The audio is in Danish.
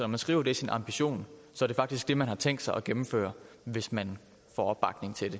man skriver det i sin ambition er det faktisk det man har tænkt sig at gennemføre hvis man får opbakning til